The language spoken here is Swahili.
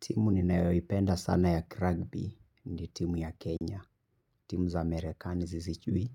Timu ninayoipenda sana ya Crugby ni timu ya Kenya. Timu za Amerikani siziichui.